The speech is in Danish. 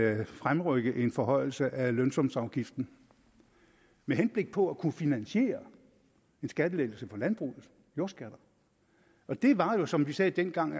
at fremrykke en forhøjelse af lønsumsafgiften med henblik på at kunne finansiere en skattelettelse for landbruget jordskatter og det var jo som vi sagde dengang